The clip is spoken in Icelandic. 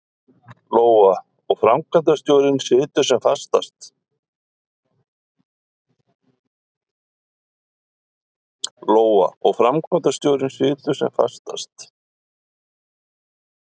Lóa: Og framkvæmdastjórinn situr sem fastast?